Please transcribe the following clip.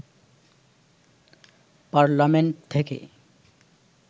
parliament থেকে